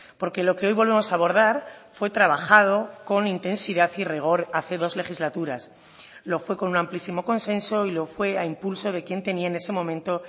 porque lo que hoy volvemos a abordar fue trabajado con intensidad y rigor hace dos legislaturas lo fue con un amplísimo consenso y lo fue a impulso de quien tenía en ese momento